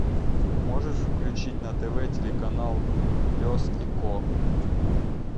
можешь включить на тв телеканал пес и ко